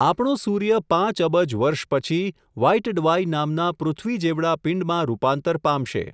આપણો સૂર્ય પાંચ અબજ વર્ષ પછી, વ્હાઈટડવાઈ નામના પૃથ્વી જેવડા પિંડમાં રૂપાંતર પામશે.